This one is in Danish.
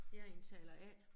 Jeg indtaler A